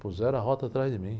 Puseram a rota atrás de mim.